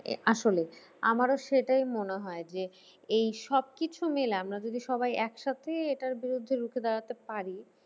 আসলে আমারও সেটাই মনে হয় যে এই সব কিছু মিলে আমরা যদি সবাই এক সাথে এটার বিরুদ্ধে রুখে দাঁড়াতে পারি